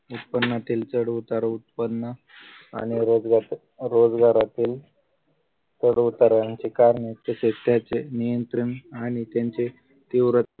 उत्पन्नातील चढ उतार उत्पन्न आणि रोजगार रोजगारातील चढ उतार यांची कारणे तसेच त्याचे नियंत्रण आणि त्यांचे तीव्र